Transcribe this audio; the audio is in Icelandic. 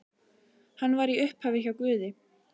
Hann var í upphafi hjá Guði.